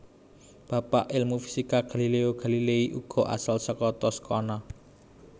Bapak ilmu fisika Galileo Galilei uga asal saka Toscana